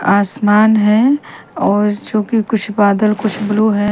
आसमान है और जो कि कुछ बदल कुछ ब्लू है।